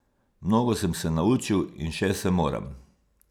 Mnogo sem se naučil in še se moram.